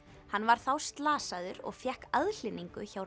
hann var þá slasaður og fékk aðhlynningu hjá